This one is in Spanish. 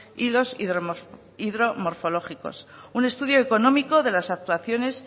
y los hidromorfológicos un estudio económico de las actuaciones